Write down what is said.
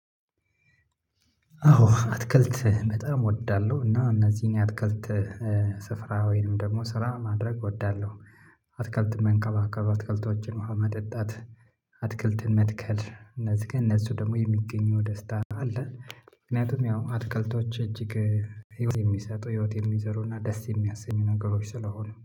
አዎ አትክልት በጣም እወዳለሁ እና እነዚህን የአትክልት ስፍራ ወይንም ደግሞ ስራ ማድረግ እወዳለሁ። አትክልት መንከባከብ አትክልቶችን ውሃ ማጠጣት አትክልትን መትከል እነዚህ ከነሱ ደግሞ የሚገኘው ደስታ አለ። ምክንያቱም ያው አትክልቶች እጅግ ህይወት የሚሰጡ ህይወት የሚዘሩ እና ደስ የሚያሰኙ ነገሮች ስለሆኑ